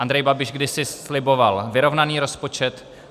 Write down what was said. Andrej Babiš kdysi sliboval vyrovnaný rozpočet.